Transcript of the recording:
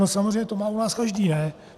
No samozřejmě, to má u nás každý, ne?